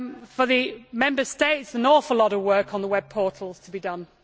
For the Member States, an awful lot of work on the web portals has to be done.